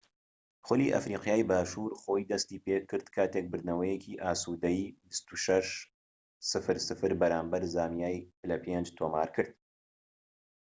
خولی ئەفریقیای باشوور لە کاتی خۆی دەستی پێکرد کاتێک بردنەوەیەکی ئاسودەی 26-00 بەرامبەر زامبیای پلەی پێنج تۆمارکرد